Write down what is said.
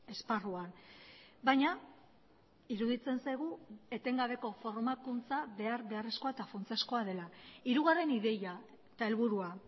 esparruan baina iruditzen zaigu etengabeko formakuntza behar beharrezkoa eta funtsezkoa dela hirugarren ideia eta helburua